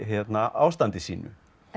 ástandi sínu